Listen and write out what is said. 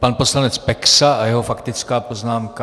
Pan poslanec Peksa a jeho faktická poznámka.